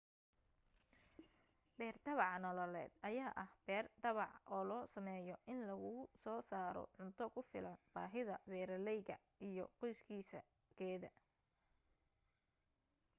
beer tabaca nololeed ayaa ah beer tabac oo loo sameeyo in lagusoo saaro cunto ku filan baahida beeraleyga iyo qoyskiisa/keeda